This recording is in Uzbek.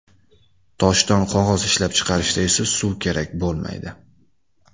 Toshdan qog‘oz ishlab chiqarishda esa suv kerak bo‘lmaydi.